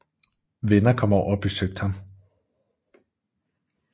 Venner kom over og besøgte ham